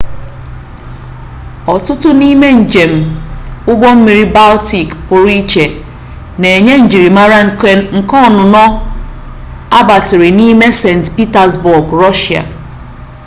ọtụtụ n'ime njem ụgbọmmiri baltik pụrụiche na-enye njirimara nke ọnụnọ agbatịrị n'ime st pitasbọọg rọshịa